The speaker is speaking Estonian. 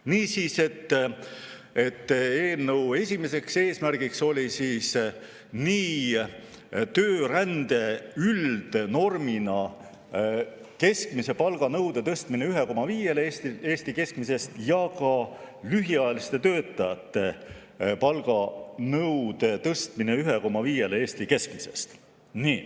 Niisiis, eelnõu esimene eesmärk oli töörände üldnormina keskmise palga nõude tõstmine 1,5‑le Eesti keskmisest ja ka lühiajaliste töötajate palganõude tõstmine 1,5‑le Eesti keskmisest.